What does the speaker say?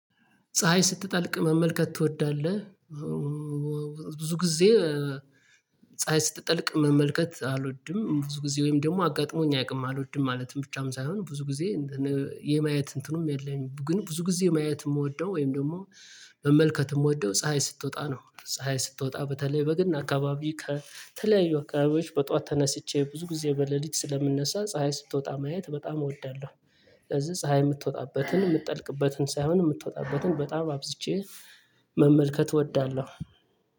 ፀሀይ ስትጠልቅ መመልከት ትወዳለህ? ብዙ ጊዜ ፀሀይ ስትጠልቅ መመልከት አልወድም። ብዙ ጊዜ ወይም ደግሞ አጋጥሞኝ አይቅም። አልወድም ማለትም ብቻም ሳይሆን ብዙ ጊዜ የማየት እንትኑም የለኝም ግን ብዙ ጊዜ ማየት የምወደው ወይም ደግሞ መመልከት የምወደው ፀሀይ ስትወጣ ነው። ፀሀይ ስትወጣ በተለይ በግን አካባቢ ከተለያዩ አካባቢዎች በጧት ተነስቼ ብዙ ጊዜ በሌሊት ስለምነሳ ፀሀይ ስትወጣ ማየት በጣም እወዳለሁ። ስለዚህ ፀሀይ የምትወጣበትን የምትጠልቅበትን ሳይሆን የምትወጣበትን በጣም አብዝቼ መመልከት እወዳለሁ።